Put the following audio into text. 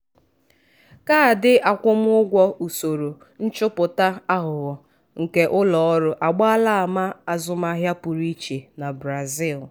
kaadị akwụmụgwọ usoro nchọpụta aghụghọ nke ụlọ ọrụ agbaala ama azụmahịa pụrụ iche na brazil.